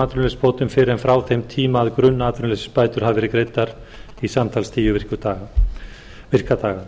atvinnuleysisbótum fyrr en frá þeim tíma er grunnatvinnuleysisbætur hafa verið greiddar í samtals tíu virka daga